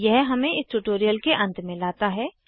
यह इस ट्यूटोरियल के अंत में लता है